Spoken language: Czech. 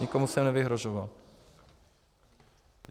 Nikomu jsem nevyhrožoval.